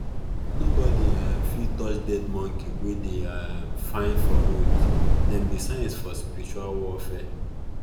nobody um fit touch dead monkey wey dey um find for road them be signs for spiritual warfare